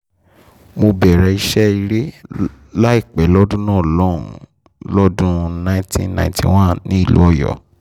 mo bẹ̀rẹ̀ iṣẹ́ eré láìpẹ́ lọ́dún náà lọ́hùn-ún lọ́dún nineteen ninety one nílùú ọ̀yọ́